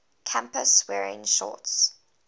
campus wearing shorts